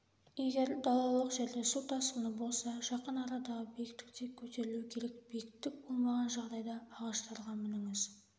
егер далалық жерде су тасқыны болса жақын арадағы биіктікке көтерілу керек биіктік болмаған жағдайда ағаштарға мініңіз